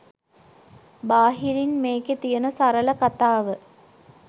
බාහිරින් මේකෙ තියෙන සරල කතාව